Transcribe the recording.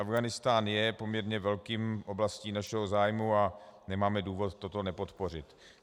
Afghánistán je poměrně velkou oblastí našeho zájmu a nemáme důvod to nepodpořit.